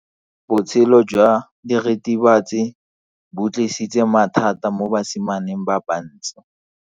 Botshelo jwa diritibatsi ke bo tlisitse mathata mo basimaneng ba bantsi.